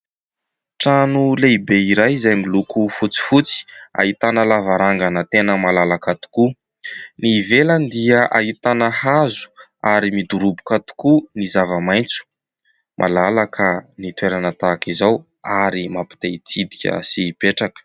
Trano lehibe iray izay miloko fotsifotsy, ahitana lavarangana tena malalaka tokoa. Ny ivelany dia ahitana hazo ary midoroboka tokoa ny zava-maitso. Malalaka ny toerana tahaka izao ary mampite-hitsidika sy hipetraka.